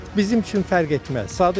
Bizim üçün fərq etməz.